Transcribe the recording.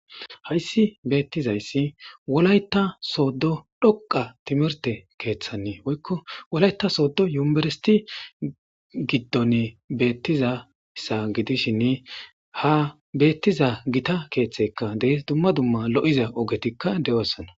hayssi beettizayssi wolayta sooddo dhoqa timirte keeththannee woykko wolayta sooddo yumeberisiti giddonne bettizassa gidishinne ha bettiza gita keeththekka dehys dumma dumma lo'iza ogetikka de'ossana